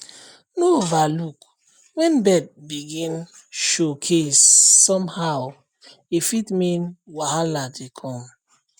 no overlook when bird begin showcase somehow e fit mean wahala dey come